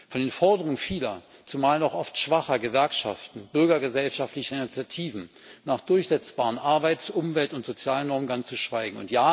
Von den Forderungen vieler, zumal noch oft schwacher Gewerkschaften und bürgergesellschaftlicher Initiativen nach durchsetzbaren Arbeits Umwelt und Sozialnormen ganz zu schweigen.